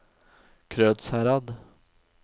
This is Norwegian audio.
Krødsherad